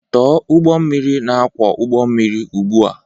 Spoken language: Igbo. Tọọ ụgbọ mmiri na-akwọ ụgbọ mmiri ugbu a!